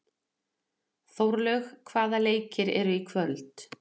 Þórlaug, hvaða leikir eru í kvöld?